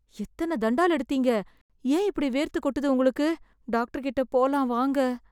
எத்தன தண்டால் எடுத்தீங்க? ஏன் இப்படி வேர்த்துக்கொட்டுது உங்களுக்கு? டாக்டர்கிட்ட போலாம் வாங்க.